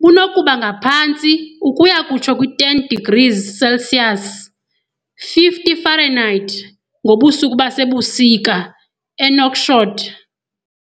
bunokuba ngaphantsi ukuya kutsho kwi-10 degrees Celsius, 50 Fahrenheit, ngobusuku basebusika eNouakchott.